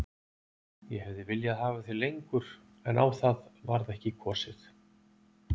Ég hefði viljað hafa þig lengur en á það varð ekki kosið.